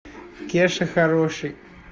кеша хороший